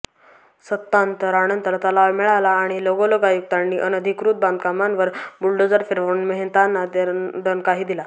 सत्तांतरानंतर तलाव मिळाला आणि लगोलग आयुक्तांनी अनधिकृत बांधकामांवर बुलडोझर फिरवून मेहतांना दणकाही दिला